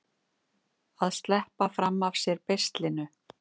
Að sleppa fram af sér beislinu